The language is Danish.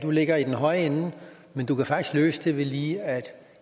ligger i den høje ende men du kan faktisk løse det ved lige at